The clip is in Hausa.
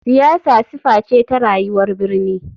Siyasa sifa ce ta rayuwar birni.